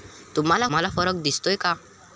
तुम्हाला फरक दिसतोय का?